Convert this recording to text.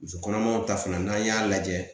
Muso kɔnɔmaw ta fana n'an y'a lajɛ